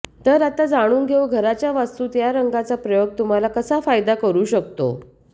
तर आता जाणून घेऊ घराच्या वास्तूत या रंगाचा प्रयोग तुम्हाला कसा फायदा करू शकतो